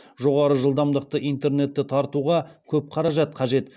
жоғары жылдамдықты интернетті тартуға көп қаражат қажет